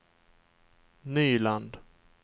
Nyland